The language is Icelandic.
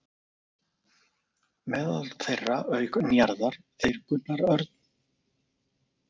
Meðal þeirra voru auk Njarðar þeir Gunnar Örn